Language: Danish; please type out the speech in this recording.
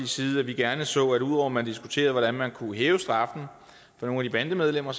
side at vi gerne så at ud over man diskuterede hvordan man kunne hæve straffen for nogle af de bandemedlemmer